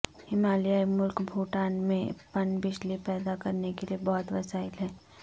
ہمالیائی ملک بھوٹان میں پن بجلی پیدا کرنے کے بہت وسائل ہیں